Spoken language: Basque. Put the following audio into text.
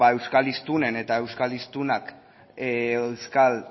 beno euskal hiztunen eta euskal hiztunak euskal